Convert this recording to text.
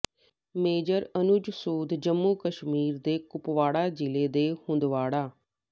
major Anuj Sood Jammu Kashmir ਦੇ ਕੁਪਵਾੜਾ ਜ਼ਿਲ੍ਹੇ ਦੇ ਹੰਦਵਾੜਾ